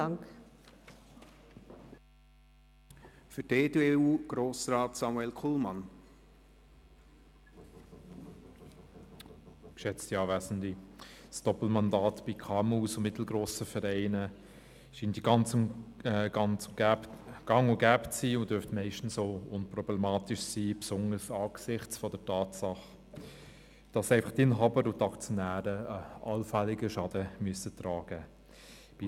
Das Doppelmandat scheint bei KMU und mittelgrossen Vereinen gang und gäbe zu sein und dürfte meistens auch unproblematisch sein, besonders angesichts der Tatsache, dass die Inhaber und Aktionäre einen allfälligen Schaden selber tragen müssen.